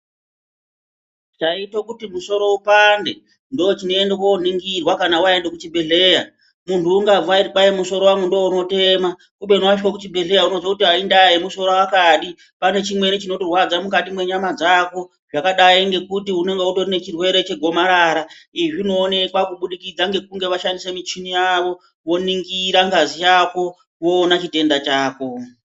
Chaite kuti musoro upande, ndochinoende kooningirwa kana waende kuchibhedhleya. Munhu ungabva eiti kwai musoro wangu ndounotema ,kubeni wacho wekuchibhedhleya unozoti aindaa yemusoro akadi ,pane chimweni chinokurwadza mukati mwenyama dzako, zvakadai ngekuti unonge une chirwere chegomarara. Izvi zvinoonekwa kubudikidza ngekunge vashandise michini yavo ,voningira ngazi yako, voona chitenda chako.